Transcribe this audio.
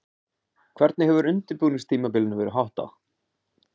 Hvernig hefur undirbúningstímabilinu verið háttað?